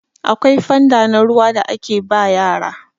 akwai fanda na ruwa da ake ba yara